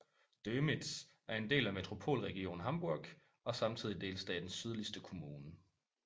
Dömitz er en del af Metropolregion Hamburg og samtidig delstatens sydligste kommune